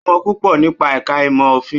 Ó mọ púpọ̀ nípa ẹ̀ka ìmọ̀ òfin.